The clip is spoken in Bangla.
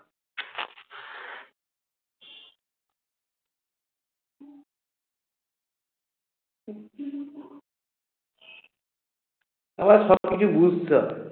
সবকিছু বুঝতে হবে